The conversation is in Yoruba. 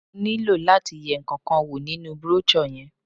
Mo nílò láti yẹ ǹkankan wò nínú brochure yẹn.